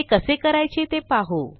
ते कसे करायचे ते पाहू